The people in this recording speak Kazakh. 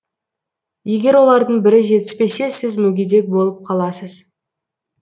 егер олардың бірі жетіспесе сіз мүгедек болып қаласыз